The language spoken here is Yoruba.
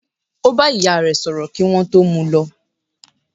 Ó bá ìyá re sọ̀rọ̀ kí wọ́n tó mú u lọ.